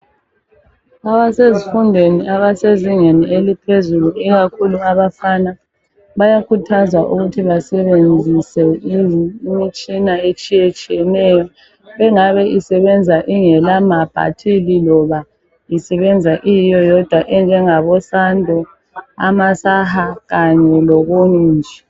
Abasezifundweni abasezingeni eliphezulu ikakhulu abafana bayakhuthazwa ukuthi basebenzis imitshina etshiyetshiyeneyo engabe isebenza ingelamabhathili loba isebenza iyiyo yodwa enjengabo sando amasaha kanye lokunye.